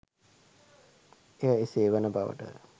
එය එසේ වන බවට